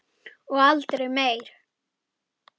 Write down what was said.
Og aldrei meir.